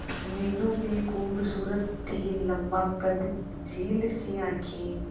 मीनू भी खूबसूरत थी लम्बा कद झील सी आंखें